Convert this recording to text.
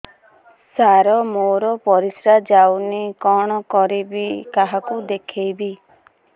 ସାର ମୋର ପରିସ୍ରା ଯାଉନି କଣ କରିବି କାହାକୁ ଦେଖେଇବି